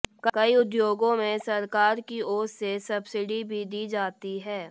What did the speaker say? कई उद्योगों में सरकार की ओर से सब्सिडी भी दी जाती है